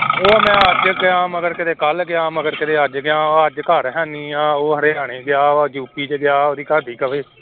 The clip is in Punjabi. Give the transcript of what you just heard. ਉਹ ਮੈਂ ਅੱਜ ਗਿਆ ਮਗਰ ਕਿਤੇ ਕੱਲ੍ਹ ਗਿਆ ਮਗਰ ਕਿਤੇ ਅੱਜ ਗਿਆ, ਅੱਜ ਘਰ ਹੈਨੀ ਆਂ ਉਹ ਹਰਿਆਣੇ ਗਿਆ, ਉਹ ਯੂਪੀ ਚ ਗਿਆ ਉਹਦੀ ਘਰਦੀ ਕਵੇ